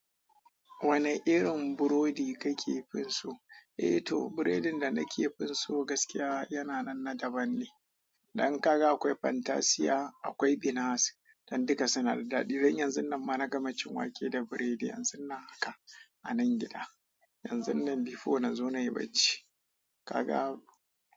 Wanne irin burodi kake fin so? Eh to, biredin da nake fin so gaskiya yana nan na daban ne. Dan kaga akwai fantasiya, akwai binasi dan duka suna da daɗi. Dan yanzun nan ma na gama cin wake da biredi yanzun nan haka. A nan gida, yanzun nan before nazo nai barci kaga.